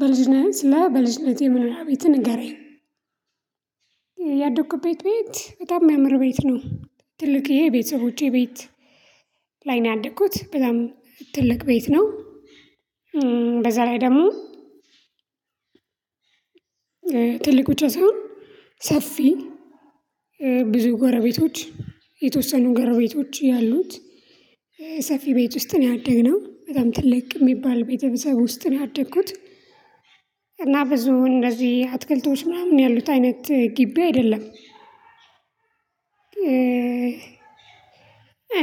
በልጅነትህ ስለ በልጅነትህ የመኖርያ ቤትህ ንገረኝ ያደኩበት ቤት በጣም ሚያምር ቤት ነው። ትልቅዬ የቤተሰቦቼ ቤት ላይ ነው ያደኩት በጣም ትልቅ ቤት ነው። በዛ ላይ ደሞ ትልቅ ብቻ ሳይሆን ሰፊ ብዙ ጎረቤቶች የተወሰኑ ገረቤቶች ያሉት ሰፊ ቤት ውስጥ ነው ያደግነው በጣም ትልቅ ሚባል ቤተሰብ ውስጥ ነው ያደኩት። እና ብዙ እንደዚ አትክልቶች ምናምን ያሉት አይነት ግቢ አይደለም።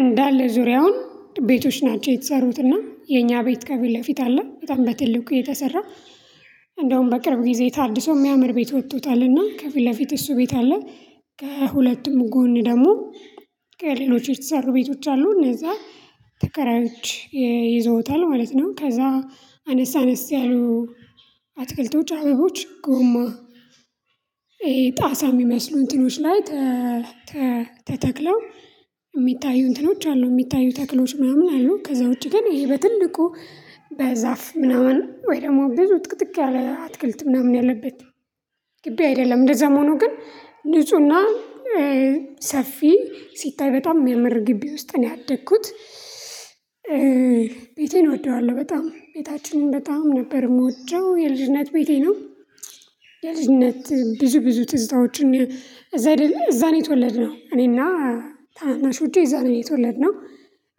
እንዳለ ዙሪያውን ቤቶች ናቸው የተሰሩትና የኛ ቤት ከፊትለፊት አለ በጣም በትልቁ የተሰራ። እንደውም በቅርብ ጊዜ ታድሶ ሚያምር ቤት ወቶታልና ከፊት ለፊት እሱ ቤት አለ። ከሁለቱም ጎን ደሞ ሌሎች የተሰሩ ቤቶች አሉ እነዛ ተከራዮች ይዘውታል ማለት ነው። ከዛ አነስ አነስ ያሉ አትክልቶች አበቦች ጎማ። ይሄ ጣሳ ሚመስሉ እንትኖች ላይ ተተክለው ሚታዩ እንትኖች አሉ ሚታዩ ተክሎች ምናምን አሉ። ከዛ ውጪ ግን ይሄ በትልቁ በዛፍ ምናምን ወይ ደሞ ብዙ ጥቅጥቅ ያለ አትክልት ምናምን ያለበት ግቢ አይደለም እንደዛም ሆኖ ግን ንፁና ሰፊ ሲታይ በጣም ሚያመር ግቢ ውስጥ ነው ያደኩት። ቤቴን እወደዋለው በጣም ቤታችንን በጣም ነበር ምወደው የልጅነት ቤቴ ነው። የልጅነት ብዙ ብዙ ትዝታዎችን እዛ አይደለ እዛ ነው የተወለድነው እኔና ታናናሾቼ እዛ ነው የተወለድነው።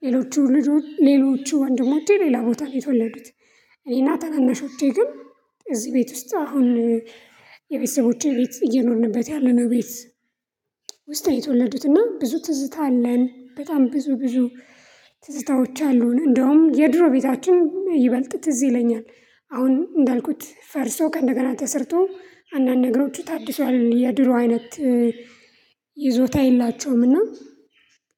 ሌሎቹ ልጆች ሌሎቹ ወንድሞቼ ሌላ ቦታ ነው የተወለዱት። እኔና ታናናሾቼ ግን እዚ ቤት ውስጥ አሁን የቤተሰቦቼ ቤት እየኖርንበት ያለነው ቤት። ውስጥ የተወለዱትና ብዙ ትዝታ አለን በጣም ብዙ ብዙ ትዝታዎች አሉን። እንደውም የድሮ ቤታችን ይበልጥ ትዝ ይለኛል አሁን እንዳልኩት ፈርሶ ከእንደገና ተሰርቶ አንዳንድ ነገሮቹ ታድሷል። የድሮ አይነት ይዞታ የላቸውም። እና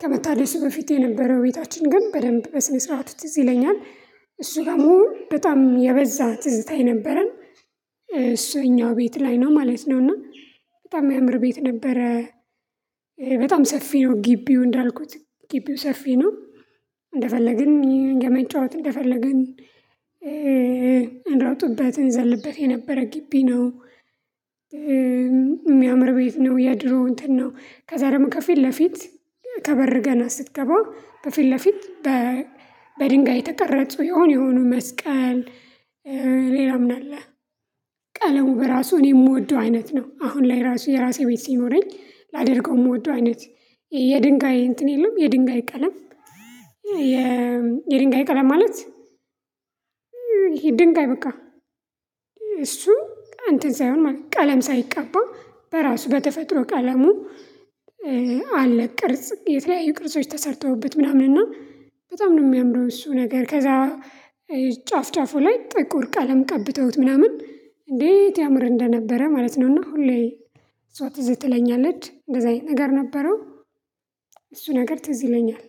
ከመታደሱ በፊት የነበረው ቤታችን ግን በደንብ በስነ ስርዓት ትዝ ይለኛል። እሱ ጋር መሆን በጣም የበዛ ትዝታ የነበረን። እሱ እኛ ቤት ላይ ነው ማለት ነው። እና በጣም ሚያምር ቤት ነበረ። በጣም ሰፊ ነው ግቢው እንዳልኩት ግቢው ሰፊ ነው። እንደፈለግን የመጫወት እንደፈለግን እንሮጥበት እንዘልበት የነበረ ግቢ ነው። ሚያምር ቤት ነው የድሮ እንትን ነው ከዛ ደሞ ከፊት ለፊት ከበር ገና ስትገባ በፊት ለፊት በድንጋይ የተቀረጹ የሆነ የሆኑ መስቀል ሌላ ምን አለ? ቀለሙ በራሱ እኔ ምወደው አይነት ነው አሁን ላይ ራሱ የራሴ ቤት ሲኖረኝ ላደርገው ምወደው አይነት የድንጋይ እንትን የለም። የድንጋይ ቀለም የ የድንጋይ ቀለም ማለት። ይሄ ድንጋይ በቃ እሱ እንትን ሳይሆን ማለት ቀለም ሳይቀባ በራሱ በተፈጥሮ ቀለሙ አለ ቅርጽ የተለያዩ ቅርጾች ተሰርተውበት ምናምን እና በጣም ነው ሚያምረው። እሱ ነገር ከዛ ጫፍ ጫፋ ላይ ጥቆር ቀለም ቀብተውት ምናምን እንዴት ያምር እንደነበረ ማለት ነውና። ሁሌ እሷ ትዝ ትለኛለች እንደዚ አይነት ነገር ነበረው። እሱ ነገር ትዝ ይለኛል።